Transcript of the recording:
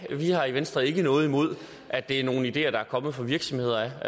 vi har i venstre ikke noget imod at det er nogle ideer der er kommet fra virksomheder